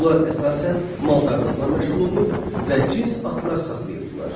Onlar əsasən maldarlıqla məşğul olur və cins atlar saxlayırdılar.